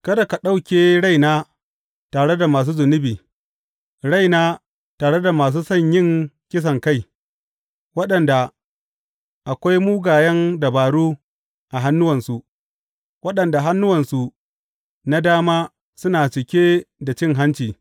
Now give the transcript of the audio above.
Kada ka ɗauke raina tare da masu zunubi raina tare da masu son yin kisankai waɗanda akwai mugayen dabaru a hannuwansu, waɗanda hannuwansu na dama suna cike da cin hanci.